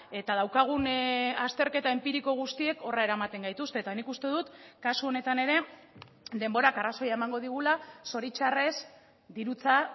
eta daukagun azterketa enpiriko guztiek horra eramaten gaituzte eta nik uste dut kasu honetan ere denborak arrazoia emango digula zoritxarrez dirutza